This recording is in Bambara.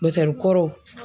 Dɔtɛri kɔrɔw